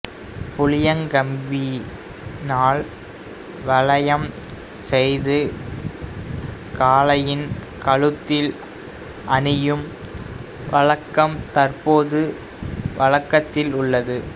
புளியங் கம்பினால் வளையம் செய்து காளையின் கழுத்தில் அணியும் வழக்கம் தற்போதும் வழக்கத்தில் உள்ளது